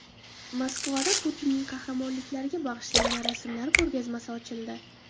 Moskvada Putinning qahramonliklariga bag‘ishlangan rasmlar ko‘rgazmasi ochildi .